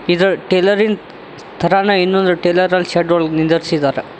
ಇದು ಟೈಲರಿನ್ ತರನೆ ಇನ್ನೊಂದು ಟೈಲರ್ ಅಲ್ ಶೆಡ್ ಒಳಗ್ ನಿಂದ್ರಸಿದಾರೆ.